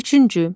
Üçüncü.